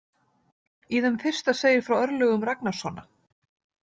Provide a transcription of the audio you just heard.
Í þeim fyrsta segir frá örlögum Ragnarssona.